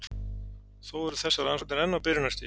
Þó eru þessar rannsóknir enn á byrjunarstigi.